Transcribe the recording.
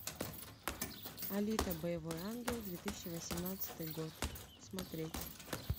алита боевой ангел две тысячи восемнадцатый год смотреть